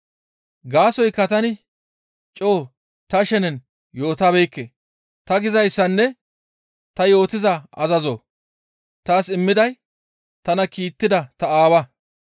Gaasoykka tani coo ta shenen yootabeekke; ta gizayssanne ta yootiza azazo taas immiday tana kiittida ta Aawa.